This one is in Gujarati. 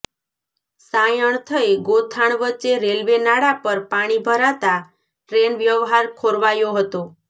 સાયણ થઈ ગોથાણ વચ્ચે રેલ્વે નાળા પર પાણી ભરાતા ટ્રેન વ્યવહાર ખોરવાયો હતો